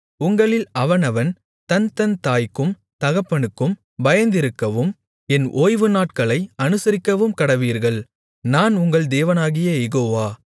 உங்களில் அவனவன் தன்தன் தாய்க்கும் தகப்பனுக்கும் பயந்திருக்கவும் என் ஓய்வு நாட்களை அனுசரிக்கவும்கடவீர்கள் நான் உங்கள் தேவனாகிய யெகோவா